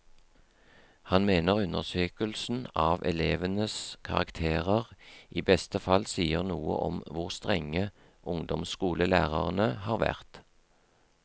Han mener undersøkelsen av elevenes karakterer i beste fall sier noe om hvor strenge ungdomsskolelærerne har vært.